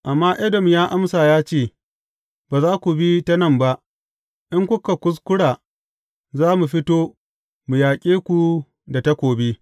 Amma Edom ya amsa ya ce, Ba za ku bi ta nan ba; in kuka kuskura, za mu fito, mu yaƙe ku da takobi.